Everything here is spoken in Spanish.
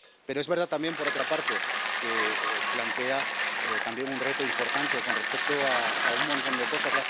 Pero es verdad también, por otra parte, que plantea también un reto importante con respecto a un montón de cosas.